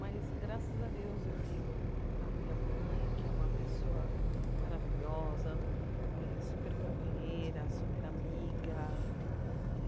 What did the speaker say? Mas, graças a Deus, eu tenho a minha mãe, que é uma pessoa maravilhosa, eh super companheira, super amiga.